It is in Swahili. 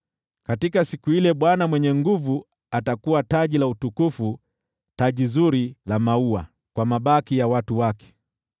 Katika siku ile, Bwana Mwenye Nguvu Zote atakuwa taji la utukufu, taji zuri la maua kwa mabaki ya watu wake.